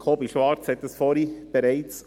Kobi Schwarz sagte dies vorhin bereits.